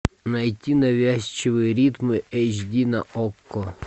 найти навязчивые ритмы эйч ди на окко